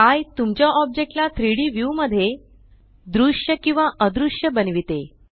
एये तुमच्या ओब्जेक्टला 3डी व्यू मध्ये दृश्य किंवा अदृश्य बनविते